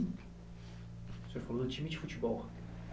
O senhor falou time de futebol.